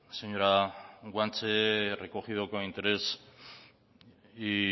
señora guanche he recogido con interés y